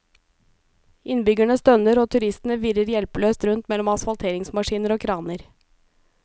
Innbyggerne stønner og turistene virrer hjelpeløst rundt mellom asfalteringsmaskiner og kraner.